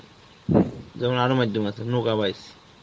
যেমন আরো মাইধ্যম আছে,